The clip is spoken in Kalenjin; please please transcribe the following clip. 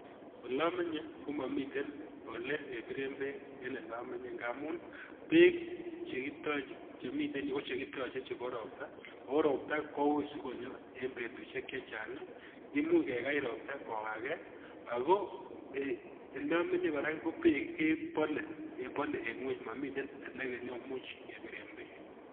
Olamenye komamiten olekebiren beek en elamenye ngamun beek chiten yu ko chekitache chebo ropta, oo ropta koui si konyo en betusiek chechang. Imuch kekakany ropta kokake ago elamenye kora ko beek kebole en ngweny, mamiten elemuch kebiren beek.